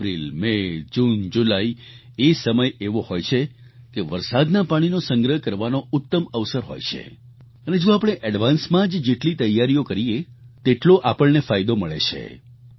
April May June July એ સમય એવો હોય છે કે વરસાદના પાણીનો સંગ્રહ કરવાનો ઉત્તમ અવસર હોય છે અને જો આપણે એડવાન્સ માં જ જેટલી તૈયારીઓ કરીએ તેટલો આપણને ફાયદો મળે છે